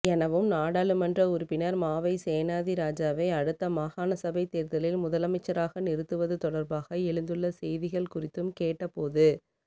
எனவும் நாடாளுமன்ற உறுப்பினர் மாவை சேனாதிராஜாவை அடுத்த மாகாணசபை தேர்தலில் முதலமைச்சராக நிறுத்துவது தொடர்பாக எழுந்துள்ள செய்திகள் குறித்தும் கேட்டபோது